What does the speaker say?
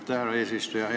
Aitäh, härra eesistuja!